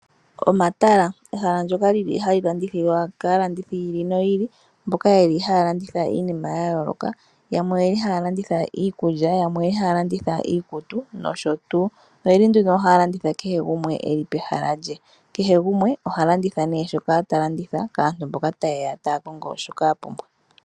Omatala ehala ndyoka lili hali landithilwa kaalandithi yi ili no yi ili mboka yeli haya landitha iinima ya yooloka , yamwe oye li haa landitha iikulya yamwe oye li haya landitha iikutu noshotuu . Oye li haya landitha kehe gumwe eli pehala lye. Kehe gumwe oha landitha shoka ta landitha kaantu mboka ta yeya taa kongo shoka ya pumbwa.